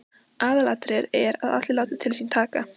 Aðalatriðið er að allir láti til sín taka.